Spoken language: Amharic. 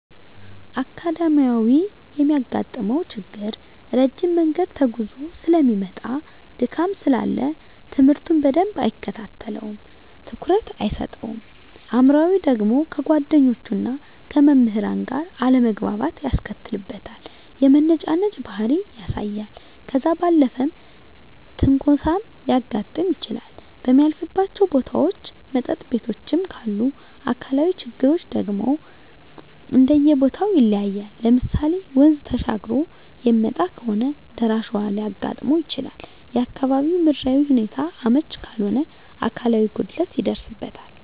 አካዳሚካያዊ የሚያጋጥመው ችግር ረጅም መንገድ ተጉዞ ሰለሚመጣ ድካም ስላለ ትምህርቱን በደንብ አይከታተለውም ትኩረት አይሰጠውም። አእምሯዊ ደግሞ ከጓደኞቹና ከመምህራን ጋር አለመግባባት ያስከትልበታል የመነጫነጭ ባህሪ ያሳያል። ከዛ ባለፈም ትንኮሳም ሊያጋጥም ይችላል በሚያልፍባቸው ቦታዎች መጠጥ ቤቶችም ካሉ። አካላዊ ችግሮች ደግሞ እንደየቦተው ይለያያል ለምሳሌ ወንዝ ተሻግሮ የሚመጣ ከሆነ ደራሽ ውሀ ሊያጋጥመው ይችላል፣ የአካባቢው ምድራዊ ሁኔታው አመች ካልሆነ አካላዊ ጉድለት ይደርስበታል።